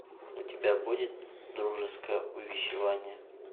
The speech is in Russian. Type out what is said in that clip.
у тебя будет дружеское увещевание